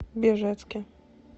бежецке